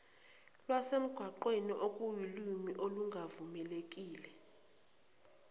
lwasemgwaqeni okuwulimi olungavumelekile